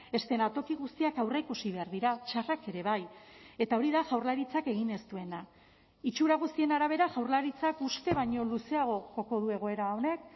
eszenatoki guztiak aurreikusi behar dira txarrak ere bai eta hori da jaurlaritzak egin ez duena itxura guztien arabera jaurlaritzak uste baino luzeago joko du egoera honek